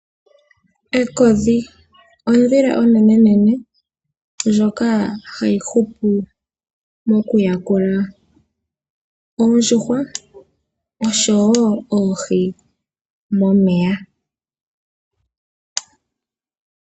Ekodhi ondhila onenene ndjoka hayi hupu okuyakula oondjuhwa oshowo oohi momeya.